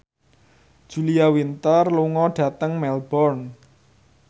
Julia Winter lunga dhateng Melbourne